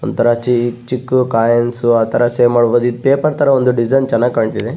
ಒಂತರ ಚಿ ಚಿಕ್ಕ್ ಕೋಯಿನ್ಸ್ ಆತರ ಸೇವ್ ಮಾಡ್ಬಹುದು ಇದು ಪೇಪರ್ ತರ ಒಂದು ಡಿಸೈನ್ ಚೆನ್ನಾಗಿ ಕಾಣ್ತಿದೆ.